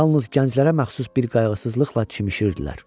Yalnız gənclərə məxsus bir qayğısızlıqla çimirdilər.